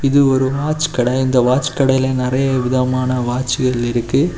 இது ஒரு வாட்ச் கடை இந்த வாட்ச் கடைல நிறைய விதமான வாட்ச்கள் இருக்கு.